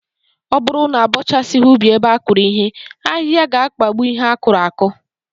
Ọ bụrụ na abọchasịghị ubi ebe a kụrụ ihe, ahịhịa ga-akpagbu ihe a kụrụ akụ